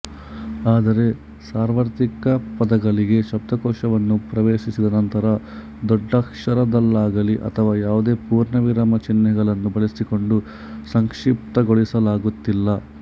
ಆದರೆ ಸಾರ್ವತ್ರಿಕ ಪದಗಳಾಗಿ ಶಬ್ದಕೋಶವನ್ನು ಪ್ರವೇಶಿಸಿದ ನಂತರ ದೊಡ್ಡಕ್ಷರದಲ್ಲಾಗಲಿ ಅಥವಾ ಯಾವುದೇ ಪೂರ್ಣವಿರಾಮ ಚಿಹ್ನೆಗಳನ್ನು ಬಳಸಿಕೊಂಡು ಸಂಕ್ಷಿಪ್ತಗೊಳಿಸಲಾಗುತ್ತಿಲ್ಲ